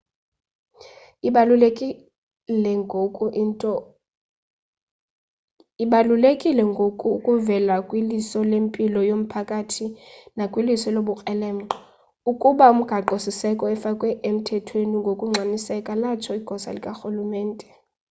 ibalulekile ngoku ukuvela kwiliso lempilo yomphakathi nakwiliso lobukrelemnqa ukuba umgaqo siseko efakwe emthethweni ngokungxamiseka latsho igosa likarhulumente